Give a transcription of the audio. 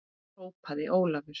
hrópaði Ólafur.